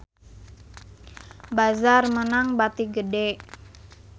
Bazaar meunang bati gede